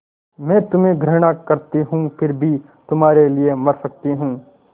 मैं तुम्हें घृणा करती हूँ फिर भी तुम्हारे लिए मर सकती हूँ